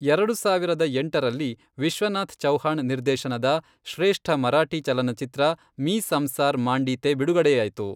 ಎರಡು ಸಾವಿರದ ಎಂಟರಲ್ಲಿ ವಿಶ್ವನಾಥ್ ಚೌಹಾಣ್ ನಿರ್ದೇಶನದ ಶ್ರೇಷ್ಠ ಮರಾಠಿ ಚಲನಚಿತ್ರ ಮೀ ಸಂಸಾರ್ ಮಾಂಡೀತೆ ಬಿಡುಗಡೆಯಾಯಿತು.